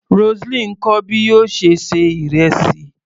Roseline ń kọ́ bí yóò ṣe ṣe ìrẹsì.